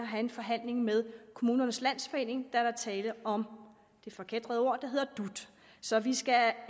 have en forhandling med kommunernes landsforening da der er tale om det forkætrede ord der hedder dut så vi skal